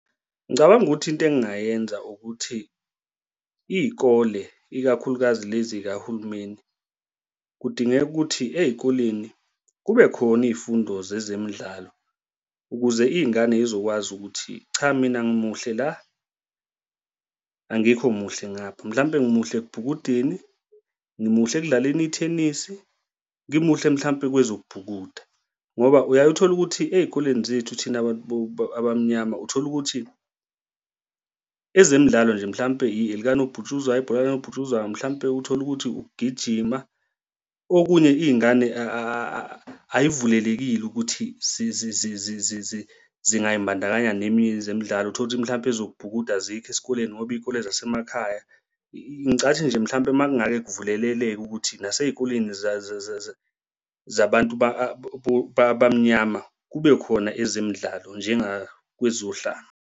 Ngicabanga ukuthi into engingayenza ukuthi iy'kole ikakhulukazi lezi zikahulumeni kudingeka ukuthi ey'koleni kube khona iy'fundo zezemidlalo ukuze iy'ngane y'zokwazi ukuthi cha, mina ngimuhle la, angikho muhle ngapha, mhlampe ngimuhle ekubhukudeni ngimuhle ekudlaleni ithenisi, ngimuhle mhlampe kwezokubhukuda. Ngoba uyaye uthole ukuthi ey'koleni zethu thina abantu abamnyama uthola ukuthi ezemidlalo nje, mhlampe ilikanobhutshuzwayo, ibhola likanobhutshuzwayo mhlampe uthole ukuthi ukugijima, okunye iy'ngane ay'vulelekile ukuthi zingayimbandakanya neminye zemidlalo. Uthole ukuthi mhlampe ezokubhukuda azikho esikoleni ngoba iy'kole zasemakhaya. Ngicathi nje mhlawumbe makungake kuvuleleleke ukuthi nasey'koleni zabantu abamnyama kube khona ezemidlalo njengakwezohlanga.